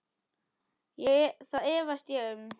Það efast ég um.